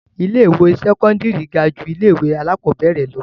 Ilé-ìwé sẹ́kọ́ndárì ga ju ilé-ìwé alákọ̀ọ́bẹ̀rẹ̀ lọ.